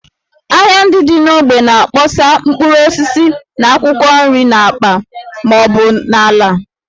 Ahịa ndị dị n’ógbè na-akpọsa mkpụrụ osisi na akwụkwọ nri n’akpa ma ọ bụ n’ala